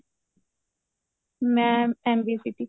ਮੈਂ MB city